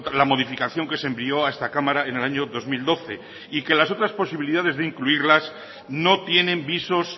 la modificación que se envió a esta cámara en el año dos mil doce y que las otras posibilidades de incluirlas no tienen visos